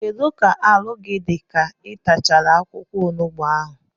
Kedụ ka arụ gị dị ka ị tachara akwụkwọ onugbu ahụ?